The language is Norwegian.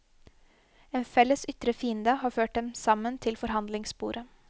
En felles ytre fiende har ført dem sammen til forhandlingsbordet.